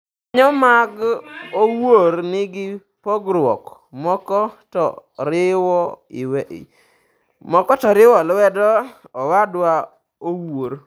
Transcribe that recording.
Jokanyo mag Owuor nigi pogruok; moko to riwo lwedo Owadwa Owuor.